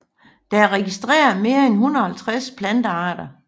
Der er registreret mere end 150 plantearter